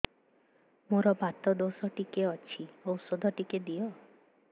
ମୋର୍ ବାତ ଦୋଷ ଟିକେ ଅଛି ଔଷଧ ଟିକେ ଦିଅ